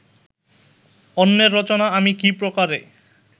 অন্যের রচনা আমি কি প্রকারে